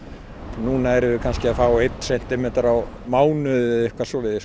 núna erum við kannski að fá einn sentimeter á mánuði eða eitthvað svoleiðis